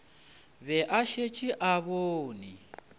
be a šetše a bone